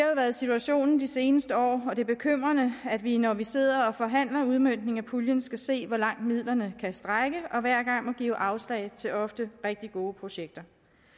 været situationen de seneste år og det er bekymrende at vi når vi sidder og forhandler udmøntningen af puljen skal se hvor langt midlerne kan strække og hver gang må give afslag til ofte rigtig gode projekter